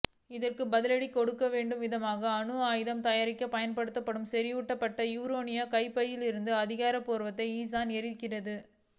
இதற்கு பதிலடி கொடுக்கும் விதமாக அணு ஆயுதங்கள் தயாரிக்கப் பயன்படுத்தப்படும் செறிவூட்டப்பட்ட யுரேனியம் கையிருப்பை அதிகரிப்போவதாக ஈரான் எச்சரித்தது